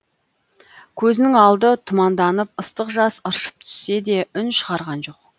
көзінің алды тұманданып ыстық жас ыршып түссе де үн шығарған жоқ